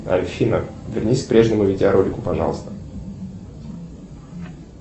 афина вернись к прежнему видеоролику пожалуйста